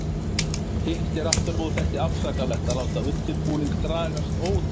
Hitt er aftur á móti ekki afsakanlegt að láta undirbúning dragast ótakmarkað.